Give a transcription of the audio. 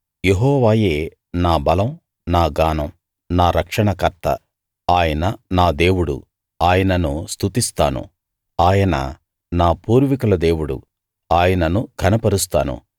యెహోవాయే నా బలం నా గానం నా రక్షణకర్త ఆయన నా దేవుడు ఆయనను స్తుతిస్తాను ఆయన నా పూర్వీకుల దేవుడు ఆయనను ఘనపరుస్తాను